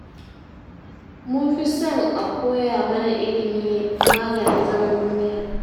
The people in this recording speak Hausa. Mun fi son a koya mana ilimi maganin zaman duniya